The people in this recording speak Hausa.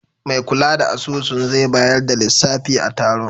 Mai kula da asusun zai bayar da lissafi a taron.